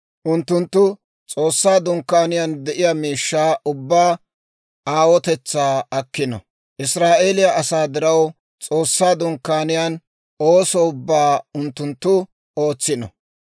Unttunttu S'oossaa Dunkkaaniyaan de'iyaa miishshaa ubbaa aawotetsaa akkino; Israa'eeliyaa asaa diraw S'oossaa Dunkkaaniyaan ooso ubbaa unttunttu ootsino.